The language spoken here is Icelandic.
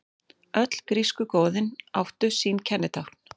Öll grísku goðin áttu sín kennitákn.